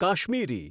Kashmiri